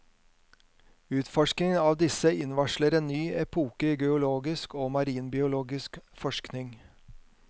Utforskningen av disse innvarsler en ny epoke i geologisk og marinbiologisk forskning.